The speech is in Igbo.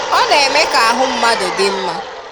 Ọ na-eme ka ahụ mmadụ dị mma.